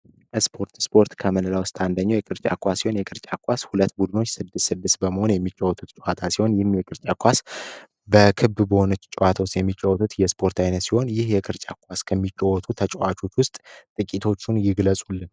ስፖርት ስፖርት ካንደኛው የቅርጫውን የቅርጫት ሁለት ቡድኖች ስድስት በመሆን የሚጫወቱት የስፖርት አይነቶች ይህ የቅርጫዎ ተጫዋቾች ውስጥ ጥቂቶቹን ይጥቀሡልን